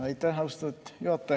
Aitäh, austatud juhataja!